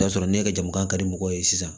N'a sɔrɔ ne ka jama ka di mɔgɔw ye sisan